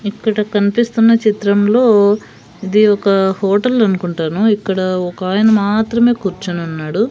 ఇక్కడ కన్పిస్తున్న చిత్రంలో ఇది ఒక హోటల్ అనుకుంటాను ఇక్కడ ఒకాయన మాత్రమే కూర్చునున్నాడు.